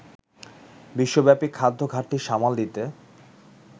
বিশ্বব্যাপী খাদ্য ঘাটতি সামাল দিতে